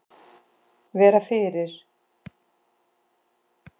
Vera fyrir.